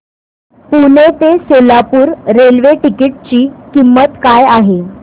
पुणे ते Solapur railway ticket ची किंमत काय आहे